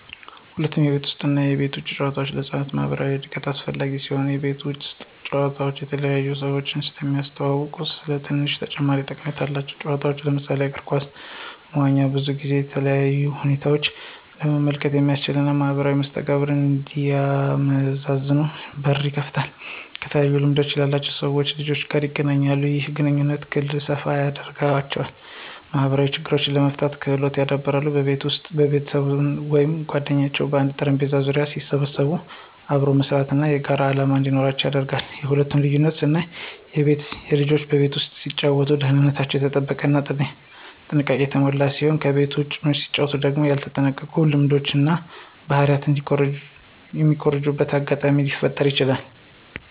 ሁለቱም የቤት ውስጥ እና የቤት ውጭ ጨዋታዎች ለህፃናት ማኅበራዊ እድገት አስፈላጊ ሲሆኑ፣ የቤት ውጭ ጨዋታ የተለያዩ ሰዎችን የሚያስተዋውቁ ስለሆኑ ትንሽ ተጨማሪ ጠቀሜታ አላቸው። ጨዋታዎች ለምሳሌ እግር ኳስ፣ መዋኛ ብዙውን ጊዜ ከተለያዩ ሁኔታ ለመመልከት የሚያስችሉ እና ማኅበራዊ መስተጋብሮችን እንዲያመዛዝኑ በር ይከፍትላቸዋል። ከተለያዩ ልምድ ያላቸው ሰዎች/ልጆች ጋር ይገናኛሉ። ይህም የግንኙነት ክልል ሰፋ ያደርገዋል። ማኅበራዊ ችግሮችን የመፍታት ክህሎታቸውን ያዳብራል። በቤት ውስጥ ቤተሰብ ወይም ጓደኞች በአንድ ጠረጴዛ ዙሪያ ሲሰበሰቡ አብሮ መስራት እና የጋራ ዓላማ እንዲኖራቸው ያደርጋል። የሁለቱ ልዩነት ስናየው ልጆች በቤት ውስጥ ሲጫወቱ ደህንነታቸው የተጠበቀ እና ጥንቃቄ የሞላበት ሲሆን ከቤት ውጭ መጫወቱ ደግሞ ያልተጠበቁ ልምዶችን እና ባህሪ የሚኮርጁበት አጋጣሚ ሊፈጠረ ይችላል።